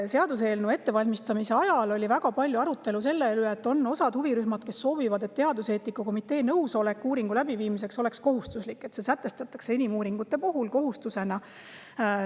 Seaduseelnõu ettevalmistamise ajal oli väga suur arutelu selle üle, et on huvirühmad, kes soovivad, et teaduseetika komitee nõusolek uuringu läbiviimiseks oleks kohustuslik, et see sätestataks inimuuringute puhul kohustusena.